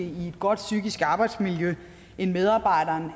i et godt psykisk arbejdsmiljø end medarbejderen